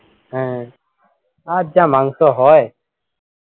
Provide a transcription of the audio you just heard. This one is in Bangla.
হ্যাঁ আর যা মাংস হয়